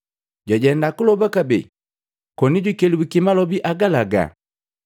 Jwajenda kuloba kabee konijukelabuki malobi agalaga.